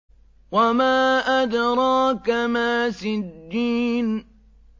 وَمَا أَدْرَاكَ مَا سِجِّينٌ